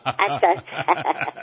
আচ্ছা আচ্ছা